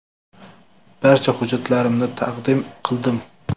Barcha hujjatlarimni taqdim qildim.